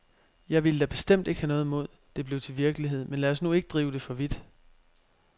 Jeg ville da bestemt ikke have noget imod, det blev til virkelighed, men lad os nu ikke drive det for vidt.